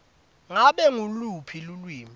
ngabe nguluphi lulwimi